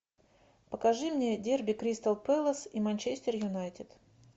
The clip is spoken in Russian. покажи мне дерби кристал пэлас и манчестер юнайтед